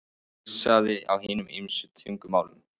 Heilsað á hinum ýmsu tungumálum.